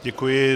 Děkuji.